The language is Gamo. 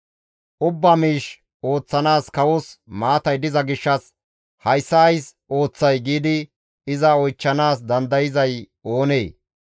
Ubbaa miish ooththanaas kawos maatay diza gishshas, «Hayssa ays ooththay?» giidi iza oychchanaas dandayzay oonee?